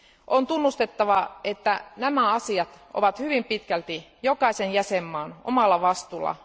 On tunnustettava, että nämä asiat ovat hyvin pitkälti jokaisen jäsenvaltion omalla vastuulla.